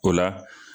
O la